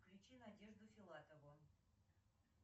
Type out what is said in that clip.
включи надежду филатову